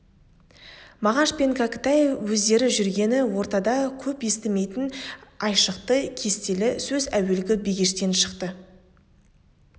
мағаш пен кәкітай өздері жүрген ортада көп естімейтін айшықты кестелі сөз әуелгі бегештен шықты